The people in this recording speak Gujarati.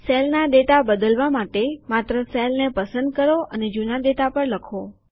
સેલમાં ડેટા બદલવા માટે માત્ર સેલ ને પસંદ કરો અને જૂના ડેટા પર લખો